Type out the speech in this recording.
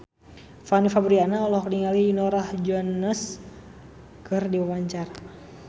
Fanny Fabriana olohok ningali Norah Jones keur diwawancara